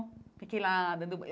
Fiquei lá dando banho.